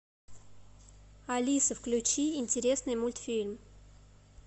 алиса включи интересный мультфильм